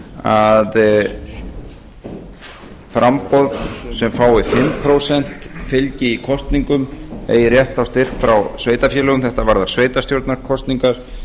að framboð sem fái fimm prósenta fylgi í kosningum eigi rétt á styrk frá sveitarfélögum þetta varðar sveitarstjórnarkosningar